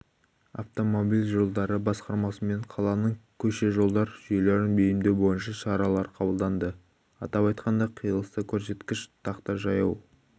автомобиль жолдары басқармасымен қаланың көше-жолдар жүйелерін бейімдеу бойынша шаралар қабылданды атап айтқанда қиылыста көрсеткіш тақта жаяу